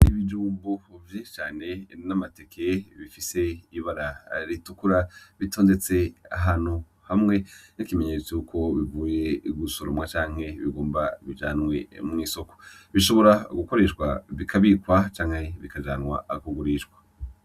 Ibijumbu vyinshi cane birimwo amateke bifise ibara ritukura, bitondetse ahantu hamwe nk'ikimenyetso cuko bivuye gusoromwa canke bigomba bijanwe mw'isoko. Bishobora gukoreshwa bikabikwa canke bikajanwa kugurishwa.